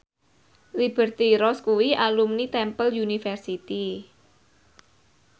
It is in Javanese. Liberty Ross kuwi alumni Temple University